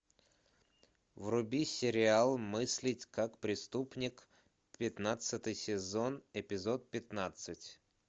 вруби сериал мыслить как преступник пятнадцатый сезон эпизод пятнадцать